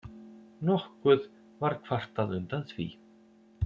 Nokkuð var kvartað undan því